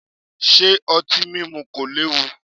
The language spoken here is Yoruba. Ṣé otin mímú kò léwu?